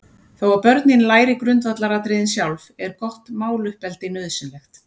Þó að börnin læri grundvallaratriðin sjálf, er gott máluppeldi nauðsynlegt.